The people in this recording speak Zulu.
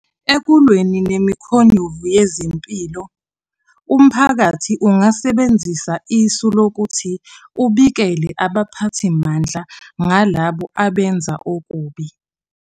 Ekulweni nemikhonyovu yezempilo, umphakathi ungasebenzisa isu lokuthi ubikele abaphathimandla ngalabo abenza okubi.